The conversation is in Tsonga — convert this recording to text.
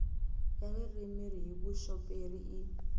ya ririmi hi vuxoperi i